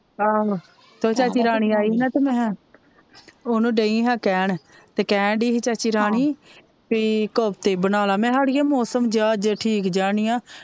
ਆਹ ਤੇ ਚਾਚੀ ਰਾਣੀ ਆਈ ਹੀ ਤੇ ਮੈ ਓਹਨੂੰ ਡਈ ਹਾਂ ਕਹਿਣ ਤੇ ਕਹਿਣਡਿ ਹੀ ਚਾਚੀ ਰਾਣੀ ਭਈ ਇੱਕ ਹਫ਼ਤੇ ਬਣਾ ਲੈ ਮੈਕਿਆ ਅੜੀਏ ਮੋਸਮ ਜੇਆ ਅੱਜ ਠੀਕ ਜੇਹਾ ਨੀ ਏ,